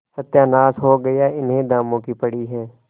सत्यानाश हो गया इन्हें दामों की पड़ी है